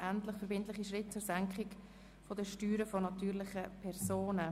«Endlich verbindliche Schritte zur Senkung der Steuern von natürlichen Personen».